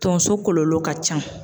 Tonso kɔlɔlɔ ka ca